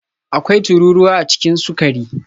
Akwai tururuwa a cikin sukari